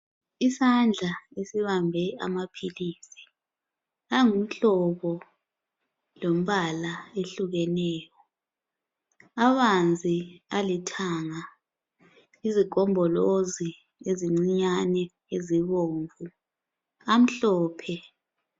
Isandla esibambe amaphilisi angumhlobo lombala ehlukeneyo abanzi alithanga izigombolozi ezincinyane ezibomvu amhlophe.